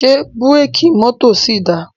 Ṣé búrékì mọ́tò ṣì dáa?